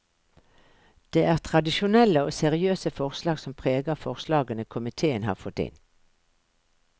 Det er tradisjonelle og seriøse forslag som preger forslagene komitéen har fått inn.